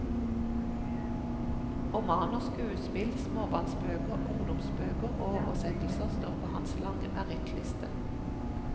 Romaner, skuespill, småbarnsbøker, ungdomsbøker og oversettelser står på hans lange merittliste.